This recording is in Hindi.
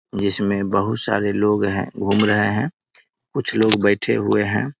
जिसमें बहुत सारे लोग हैं घूम रहे हैं कुछ लोग बैठे हुए हैं ।